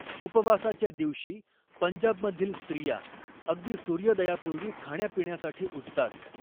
उपवासाच्या दिवशी, पंजाबमधील स्त्रिया अगदी सूर्योदयापूर्वी खाण्यापिण्यासाठी उठतात.